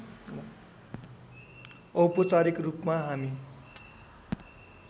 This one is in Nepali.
औपचारिक रूपमा हामी